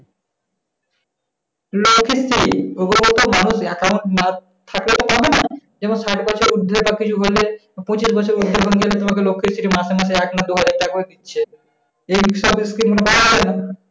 লোকের কি সম্ভবত মানুষের account না থাকলে তো হবে না। যেমন সাত বছর বুরোটপি হইলে মাঝে মাঝে এক-দুই হাজারটাকা করে দিচ্ছে। এই সব scheme নাই,